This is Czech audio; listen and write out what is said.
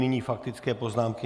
Nyní faktické poznámky.